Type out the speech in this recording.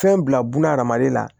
Fɛn bila buna hadamaden la